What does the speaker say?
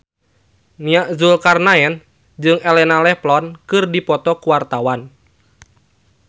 Nia Zulkarnaen jeung Elena Levon keur dipoto ku wartawan